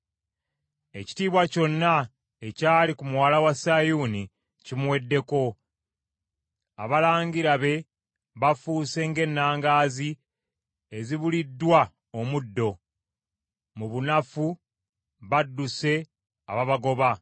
Ekitiibwa kyonna ekyali ku muwala wa Sayuuni kimuweddeko, abalangira be bafuuse ng’ennangaazi ezibuliddwa omuddo; mu bunafu, badduse ababagoba.